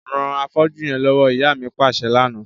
Ran afọ́jú yẹn lọwọ, ìyá mi paṣẹ lana.